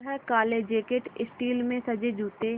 वह काले jacket steel से सजे जूते